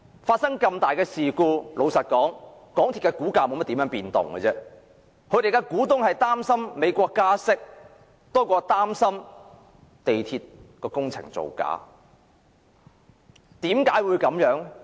發生這麼重大的事故，港鐵公司的股價也沒有多少變動，他們的股東擔心美國加息多於港鐵的工程造假。